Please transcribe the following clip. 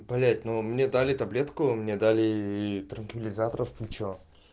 блять но мне дали таблетку мне дали транквилизаторов кучу